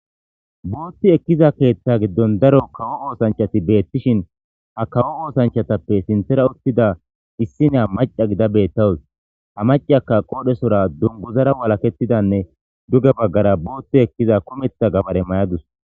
Bootti ekkida keeththa giddon daro kawo osanchchati beetishin ha kawo oosanchchatappe sinththera uttida issiniya macca gida beettawis. Ha macciyakka qoodhesora dunguzara walaketidanne duge baggara bootti ekkiza gabare mayadus.